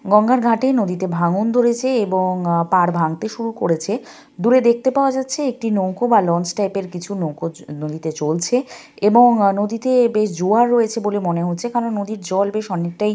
গঙ্গার ঘাটেই নদীতে ভাঙ্গন ধরেছে এবং আহ পাড় ভাঙতে শুরু করেছে। দূরে দেখতে পাওয়া যাচ্ছে একটি নৌকো বা লঞ্চ টাইপ -এর কিছু নৌকো চ নদীতে চলছে এবং অ নদীতে বেশ জোয়ার রয়েছে বলে মনে হচ্ছে কারণ নদীর জল বেশ অনেকটাই।